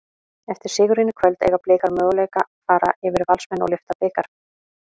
Eftir sigurinn í kvöld, eiga Blikar möguleika fara yfir Valsmenn og lyfta bikar?